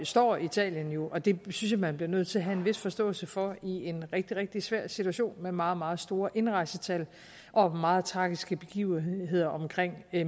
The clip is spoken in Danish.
står italien jo og det synes jeg man bliver nødt til at have en vis forståelse for i en rigtig rigtig svær situation med meget meget store indrejsetal og meget tragiske begivenheder omkring